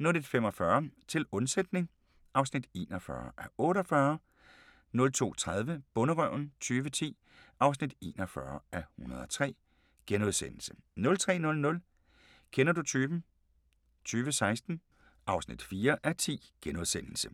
01:45: Til undsætning (41:48) 02:30: Bonderøven 2010 (41:103)* 03:00: Kender du typen? 2016 (4:10)*